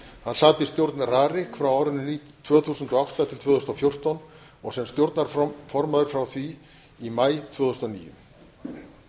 hann sat í stjórn rariks tvö þúsund og átta til tvö þúsund og fjórtán og sem stjórnarformaður frá því í maí tvö þúsund og níu